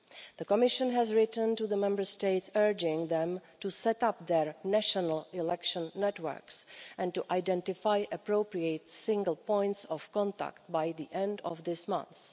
The Commission has written to the Member States urging them to set up their national election networks, and to identify appropriate single points of contact by the end of this month.